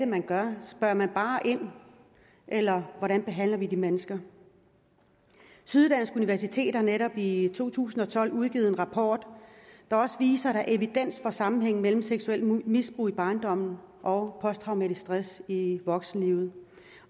man gør spørger man bare ind eller hvordan behandler vi de mennesker syddansk universitet har netop i to tusind og tolv udgivet en rapport der viser at der er evidens for sammenhængen mellem seksuelt misbrug i barndommen og posttraumatisk stress i voksenlivet